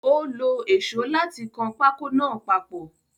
Ó lo èsó láti kan pákó náà papọ̀.